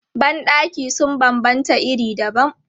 Ban ɗaki sun banbanta iri dabam.